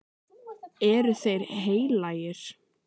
Eru þeir heilagir?